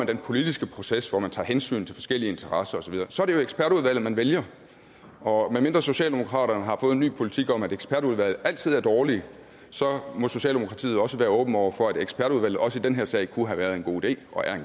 den politiske proces hvor man tager hensyn til forskellige interesser osv så er det jo ekspertudvalget man vælger og medmindre socialdemokratiet en ny politik om at ekspertudvalg altid er dårlige så må socialdemokratiet også være åben over for at ekspertudvalget også i den her sag kunne være en god idé og er